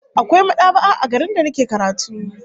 Akwai mad'aba'a a garin da nake karatu